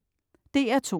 DR2: